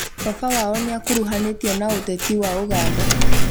Baba wao nĩkuruhanĩtio na ũteti wa Ũganda